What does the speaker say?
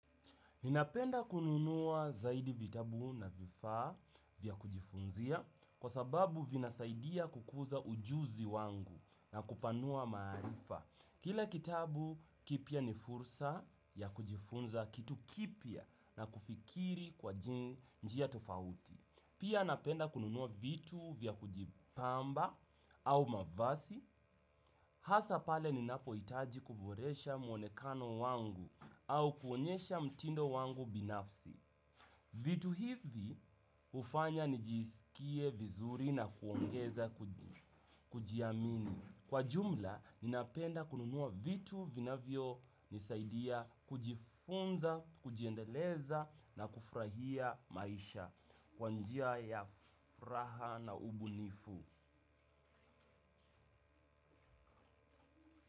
Ninapenda kununua zaidi vitabu na vifaa vya kujifunzia kwa sababu vinasaidia kukuza ujuzi wangu na kupanua maarifa. Kila kitabu kipya ni fursa ya kujifunza kitu kipya na kufikiri kwa njia tofauti. Pia napenda kununua vitu vya kujipamba au mavazi. Hasa pale ninapohitaji kuboresha muonekano wangu au kuonyesha mtindo wangu binafsi. Vitu hivi hufanya njiisikie vizuri na kuongeza kujiamini. Kwa jumla, ninapenda kununua vitu vinavyo nisaidia kujifunza, kujiendeleza na kufurahia maisha. Kwa njia ya furaha na ubunifu.